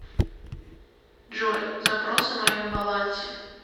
джой запрос о моем балансе